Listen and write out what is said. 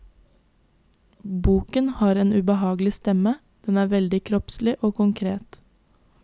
Boken har en ubehagelig stemme, den er veldig kroppslig og konkret.